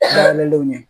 Bangelenw ɲɛ